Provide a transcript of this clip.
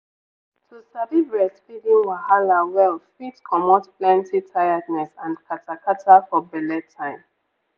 to sabi breastfeeding wahala well fit comot plenty tiredness and kata kata for belle time.